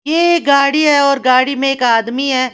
ये गाड़ी है और गाड़ी में एक आदमी है।